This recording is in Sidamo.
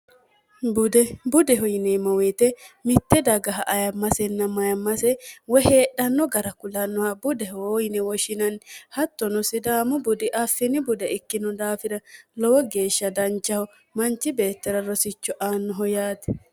udbudeho yineemmo woite mitte dagaha ayammasenna mayammase woy heedhanno gara kulannoha budehoyine woshinanni hattono sidaamo budi afsini bude ikkino daafira lowo geeshsha danchaho manchi beettela rosicho aannoho yaati